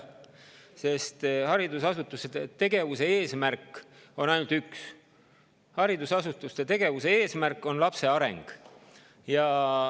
See puudutab nii koole kui ka lasteaedu, sest haridusasutuste tegevuse eesmärk on üks: lapse areng.